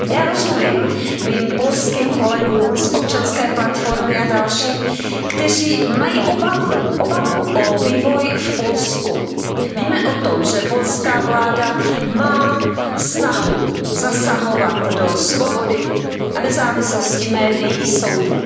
Já rozumím mým polským kolegům z Občanské platformy a dalším, kteří mají obavu o vývoj v Polsku. Víme o tom, že polská vláda má snahu zasahovat do svobody a nezávislosti médií i soudů.